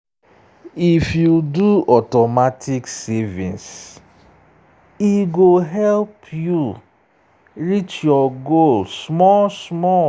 if you do automatic savings e go help you reach your goal small small.